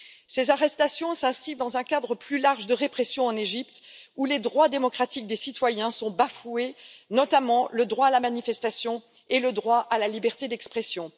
Ces arrestations s'inscrivent dans un cadre plus large de répression en Égypte, où les droits démocratiques des citoyens sont bafoués, notamment le droit à la manifestation et le droit à la liberté d'expression.